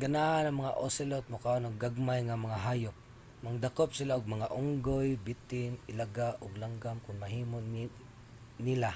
ganahan ang mga ocelot mokaon og gagmay nga mga hayop. mangdakop sila og mga unggoy bitin ilaga ug langgam kon mahimo nila.